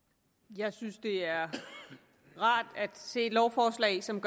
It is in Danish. jeg synes det er rart at se lovforslag som